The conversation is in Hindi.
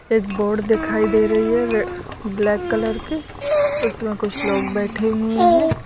एक बोट दिखाई दे रही है ब्लैक कलर की उसमें कुछ लोग बैठें हुए हैं।